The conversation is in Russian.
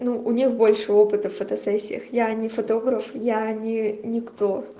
ну у них больше опыта в фотосессиях я не фотограф я не никто